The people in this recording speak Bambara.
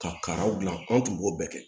Ka karaw dilan anw tun b'o bɛɛ kɛ